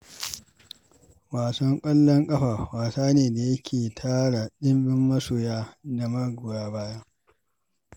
Ƙwallon ƙafa wasa ne da yake tara dimbin masoya da magoya baya.